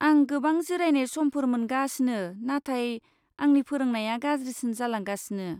आं गोबां जिरायनाय समफोर मोनगासिनो, नाथाय आंनि फोरोंनाया गाज्रिसिन जालांगासिनो।